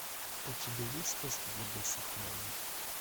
у тебя есть сказки для больших и маленьких